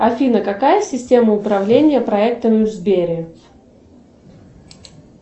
афина какая система управления проектами в сбере